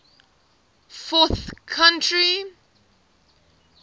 fourth century